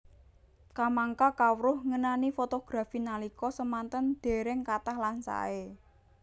Kamangka kawruh ngenani fotografi nalika semanten dereng kathah lan sae